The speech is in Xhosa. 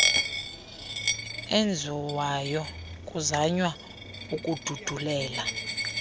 enziwayo kuzanywa ukududulela